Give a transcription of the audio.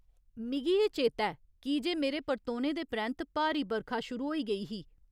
मिगी एह् चेता ऐ, कीजे मेरे परतोने दे परैंत्त भारी बरखा शुरू होई गेई ही।